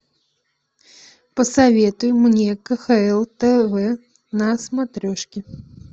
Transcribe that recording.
посоветуй мне кхл тв на смотрешке